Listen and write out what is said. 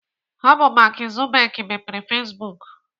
Ọ bụ Mark Zuckerberg mepere Facebook.